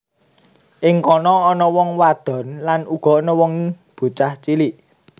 Ing kono ana wong wadon lan ana uga bocah cilik